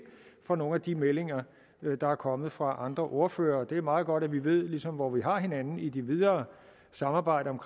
fra nogle af de meldinger der er kommet fra andre ordførere det er meget godt at vi ligesom ved hvor vi har hinanden i det videre samarbejde om